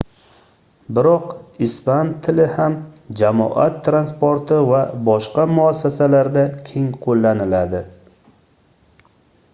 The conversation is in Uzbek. biroq ispan tili ham jamoat transporti va boshqa muassasalarda keng qoʻllaniladi